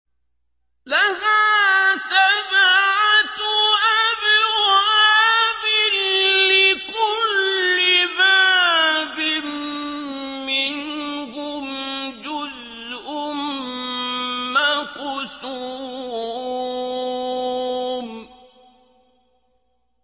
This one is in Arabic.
لَهَا سَبْعَةُ أَبْوَابٍ لِّكُلِّ بَابٍ مِّنْهُمْ جُزْءٌ مَّقْسُومٌ